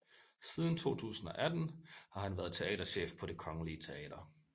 Siden 2018 har han været teaterchef på Det Kongelige Teater